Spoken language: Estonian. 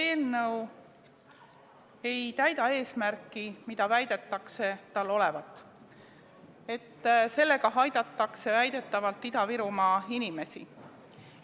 See eelnõu ei täida eesmärki, mis tal väidetakse olevat, et sellega aidatakse Ida-Virumaa inimesi.